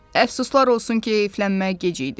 Əfsuslar olsun ki, eyflənmək gec idi.